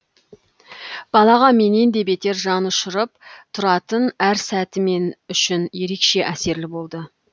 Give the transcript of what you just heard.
балаға менен де бетер жан ұшырып тұратын әр сәті мен үшін ерекше әсерлі болды